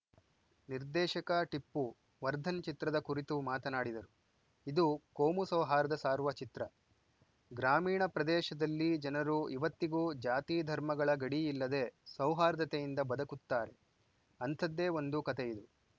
ನಿರ್ದೇಶಕ ಟಿಪ್ಪು ವರ್ಧನ್‌ ಚಿತ್ರದ ಕುರಿತು ಮಾತನಾಡಿದರು ಇದು ಕೋಮು ಸೌಹಾರ್ದ ಸಾರುವ ಚಿತ್ರ ಗ್ರಾಮೀಣ ಪ್ರದೇಶದಲ್ಲಿ ಜನರು ಇವತ್ತಿಗೂ ಜಾತಿ ಧರ್ಮಗಳ ಗಡಿ ಇಲ್ಲದೆ ಸೌಹಾರ್ದತೆಯಿಂದ ಬದುಕುತ್ತಾರೆ ಅಂಥದ್ದೇ ಒಂದು ಕತೆಯಿದು